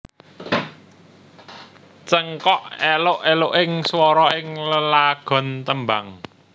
Cengkok eluk eluking swara ing lelagon tembang